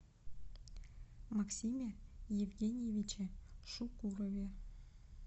максиме евгеньевиче шукурове